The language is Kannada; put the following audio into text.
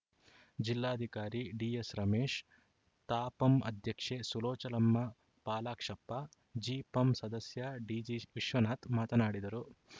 ಜಿಲ್ಲಾಧಿಕಾರಿ ಡಿಎಸ್‌ ರಮೇಶ್‌ ತಾಪಂ ಅಧ್ಯಕ್ಷೆ ಸುಲೋಚನಮ್ಮ ಪಾಲಾಕ್ಷಪ್ಪ ಜಿಪಂ ಸದಸ್ಯಡಿಜಿ ವಿಶ್ವನಾಥ ಮಾತನಾಡಿದರು